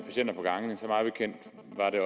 mig bekendt